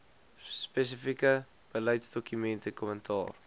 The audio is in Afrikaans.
spesifieke beleidsdokumente kommentaar